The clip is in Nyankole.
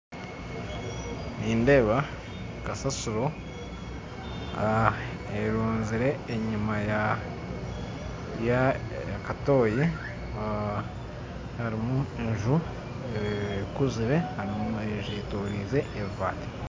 Nindeeba kasasiro ah erunzire enyuma y'akatoyi ah harumu enju ekuzire harumu n'enju eyetoroize ebibaati.